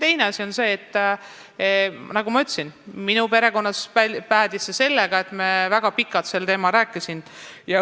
Teiseks, nagu ma juba ütlesin, minu perekonnas päädis asi sellega, et ma rääkisin lapsega väga pikalt sel teemal.